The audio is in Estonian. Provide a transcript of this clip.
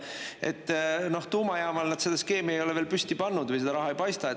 Et noh, tuumajaamal nad seda skeemi ei ole veel püsti pannud või seda raha ei paista.